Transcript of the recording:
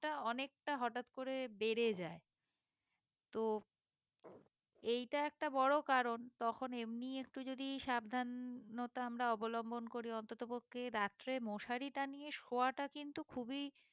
অনেকটা হঠাৎ করে বেড়ে যায় তো এইটা একটা বড়ো কারণ তখন এমনি একটু যদি সাবধানতা আমরা অবলম্বন করি অন্তত পক্ষে রাত্রে মশারি টাঙিয়ে শোয়াটা কিন্তু খুবই